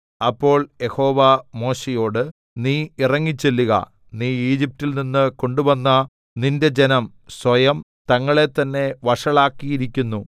അപ്പോൾ യഹോവ മോശെയോട് നീ ഇറങ്ങിച്ചെല്ലുക നീ ഈജിപ്റ്റിൽ നിന്ന് കൊണ്ടുവന്ന നിന്റെ ജനം സ്വയം തങ്ങളെ തന്നേ വഷളാക്കിയിരിക്കുന്നു